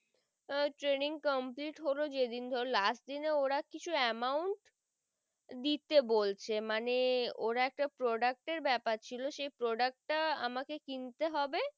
আহ training complete হলো যেইদিন ধরো last দিন োর কিছু amount দিতে বলছে মানে োর একটা product এর বেপার ছিল সেই product তা কিনতে হবে বা।